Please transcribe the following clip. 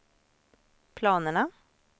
planerna